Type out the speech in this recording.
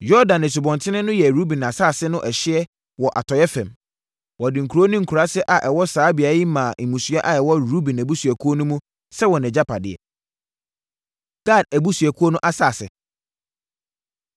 Yordan Asubɔnten no yɛ Ruben asase no ɛhyeɛ wɔ atɔeɛ fam. Wɔde nkuro ne nkuraase a ɛwɔ saa beaeɛ yi maa mmusua a ɛwɔ Ruben abusuakuo no mu sɛ wɔn agyapadeɛ. Gad Abusuakuo No Asase